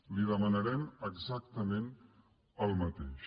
li demanarem exactament el mateix